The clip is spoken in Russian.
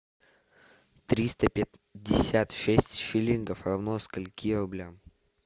триста пятьдесят шесть шиллингов равно скольки рублям